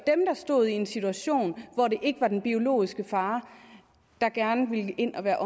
står i en situation hvor det ikke er den biologiske far der gerne vil ind og være